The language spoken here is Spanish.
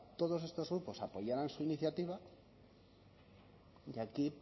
todos estos grupos apoyaran su iniciativa y aquí